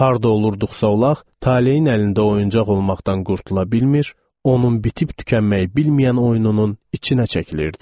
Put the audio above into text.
Harda olurduqsa olaq, taleyin əlində oyuncaq olmaqdan qurtula bilmir, onun bitib-tükənməyi bilməyən oyununun içinə çəkilirdik.